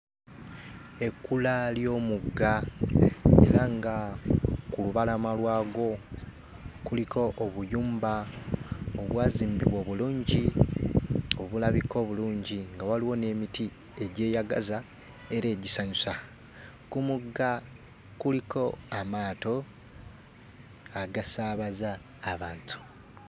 Ekkula ly'omugga era nga ku lubalama lwagwo kuliko obuyumba obwazimbibwa obulungi, obulabika obulungi nga waliwo n'emiti egyeyagaza era egisanyusa. Ku mugga kuliko amaato agasaabaza abantu.